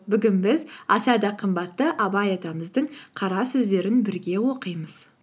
бүгін біз аса да қымбатты абай атамыздың қара сөздерін бірге оқимыз